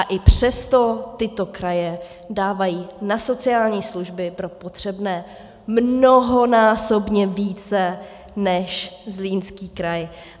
A i přesto tyto kraje dávají na sociální služby pro potřebné mnohonásobně více než Zlínský kraj.